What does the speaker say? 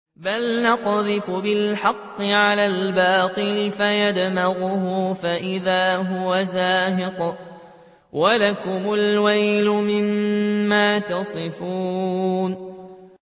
بَلْ نَقْذِفُ بِالْحَقِّ عَلَى الْبَاطِلِ فَيَدْمَغُهُ فَإِذَا هُوَ زَاهِقٌ ۚ وَلَكُمُ الْوَيْلُ مِمَّا تَصِفُونَ